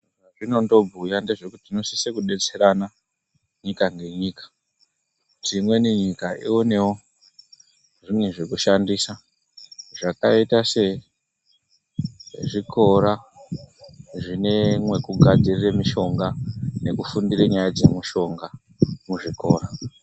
Zvazvinondo bhuya ndezvekuti tino sise ku detserana nyika ne nyika kuti imweni nyika ionewo zvimwe zveku shandisa zvakaita se zvikora zvine mweku gadzirira mushonga neku fundire nyaya dze mushonga muzvikora.